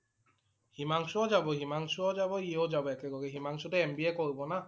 হিমাংশু ও যাব। হিমাংশু ও যাব ই ও যাব একেলগে। হিমাংশু টো MBA কৰিব না।